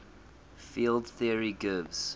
field theory gives